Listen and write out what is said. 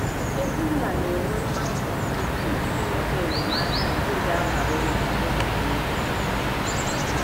Ezi nna na - enwe mmasị dị ukwuu inweta enyemaka nke ga - abara ụmụ ya uru.